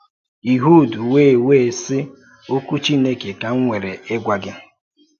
Ịhud wèe wèe sị, “Òkwú Chineke ka m nwere ịgwa gị.”